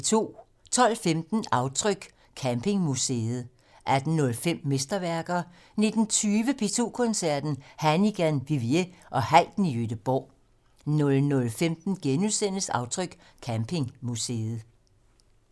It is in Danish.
12:15: Aftryk - Campingmuseet 18:05: Mesterværker 19:20: P2 Koncerten - Hannigan, Vivier og Haydn i Gøteborg 00:15: Aftryk - Campingmuseet *